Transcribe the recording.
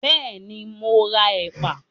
Bẹ́ẹ̀ ni, mọ ra ẹ̀pà